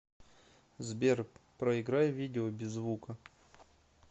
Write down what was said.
сбер проиграй видео без звука